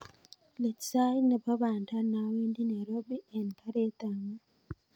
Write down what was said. Iit sait nepo panda nawendi nairobi en karit ap maat